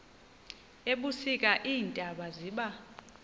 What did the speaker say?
ebusika iintaba ziba